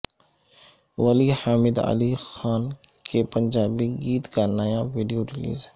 ولی حامد علی خان کے پنجابی گیت کا نیا ویڈیو ریلیز